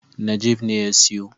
Najeeb ne ya siyo.